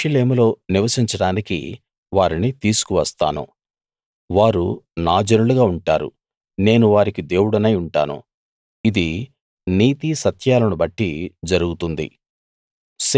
యెరూషలేములో నివసించడానికి వారిని తీసుకు వస్తాను వారు నా జనులుగా ఉంటారు నేను వారికి దేవుడనై ఉంటాను ఇది నీతి సత్యాలను బట్టి జరుగుతుంది